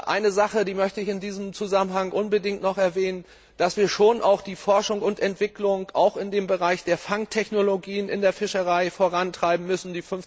Eine Sache möchte ich in diesem Zusammenhang unbedingt noch erwähnen dass wir die Forschung und Entwicklung auch im Bereich der Fangtechnologien in der Fischerei vorantreiben müssen.